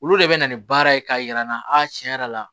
Olu de bɛ na ni baara ye k'a yir'an na a tiɲɛ yɛrɛ la